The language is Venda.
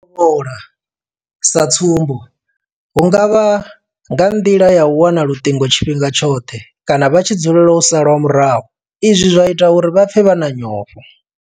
U tovhola, sa tsumbo hu nga vha nga nḓila ya u wana luṱingo tshifhinga tshoṱhe kana vha tshi dzulela u salwa murahu izwi zwa ita uri vha pfe vha na nyofho.